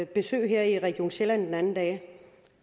besøg her i region sjælland den anden dag